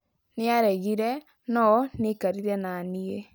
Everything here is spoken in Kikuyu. Niaregire ,no niekarire nanii